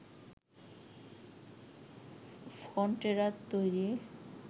ফন্টেরার তৈরি